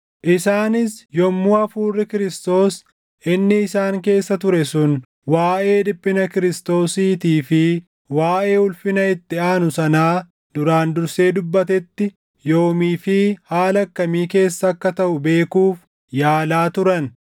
isaanis yommuu Hafuurri Kiristoos inni isaan keessa ture sun waaʼee dhiphina Kiristoosiitii + 1:11 yookaan Masiihichaa fi waaʼee ulfina itti aanu sanaa duraan dursee dubbatetti yoomii fi haala akkamii keessa akka taʼu beekuuf yaalaa turan.